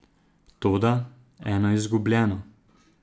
Toda, eno izgubljeno ...